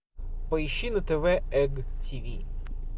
поищи на тв эм ти ви